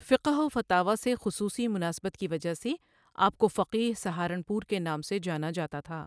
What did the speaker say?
فقہ وفتاویٰ سے خصوصی مناسبت کی وجہ سے آپ کو فقیہ سہارنپور کے نام سے جاناجاتاتھا۔